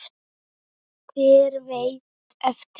Hver veit eftir það?